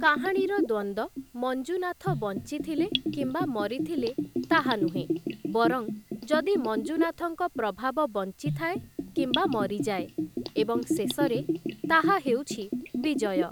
କାହାଣୀର ଦ୍ୱନ୍ଦ୍ୱ ମଞ୍ଜୁନାଥ ବଞ୍ଚିଥିଲେ କିମ୍ବା ମରିଥିଲେ ତାହା ନୁହେଁ, ବରଂ ଯଦି ମଞ୍ଜୁନାଥଙ୍କ ପ୍ରଭାବ ବଞ୍ଚିଥାଏ କିମ୍ବା ମରିଯାଏ, ଏବଂ ଶେଷରେ, ତାହା ହେଉଛି ବିଜୟ ।